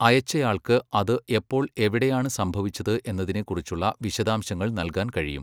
അയച്ചയാള്ക്ക് അത് എപ്പോൾ എവിടെയാണ് സംഭവിച്ചത് എന്നതിനെക്കുറിച്ചുള്ള വിശദാംശങ്ങൾ നൽകാൻ കഴിയും.